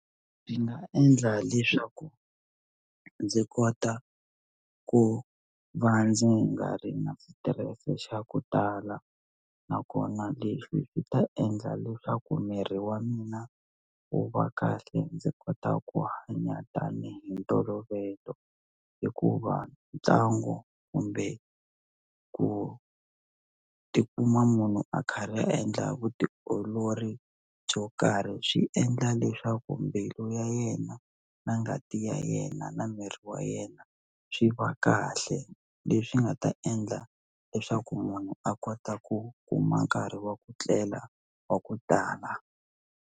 Ndzi nga endla leswaku ndzi kota ku va ndzi nga ri na switirese xa ku tala nakona leswi swi ta endla leswaku miri wa mina u va kahle ndzi kota ku hanya tanihi ntolovelo hikuva ntlangu kumbe ku tikuma munhu a kharhi a endla vutiolori byo karhi swi endla leswaku mbilu ya yena na ngati ya yena na miri wa yena swi va kahle leswi nga ta endla leswaku munhu a kota ku kuma nkarhi wa ku tlela wa ku tala.